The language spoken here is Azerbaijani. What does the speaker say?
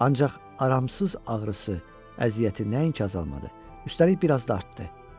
Ancaq aramsız ağrısı, əziyyəti nəinki azalmadı, üstəlik bir az da artdı.